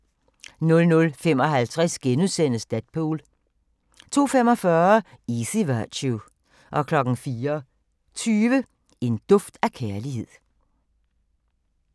00:55: Deadpool * 02:45: Easy Virtue 04:20: En duft af kærlighed